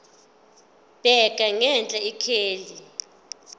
bheka ngenhla ikheli